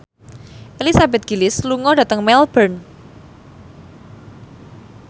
Elizabeth Gillies lunga dhateng Melbourne